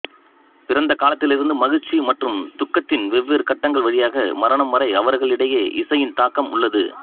பிறந்த காலத்திலிருந்து மகிழ்ச்சி மற்றும் துக்கத்தின் வெவ்வேறு கட்டங்கள் வழியாக மரணம் வரை அவர்களைடையே இசையின் தாக்கம் உள்ளது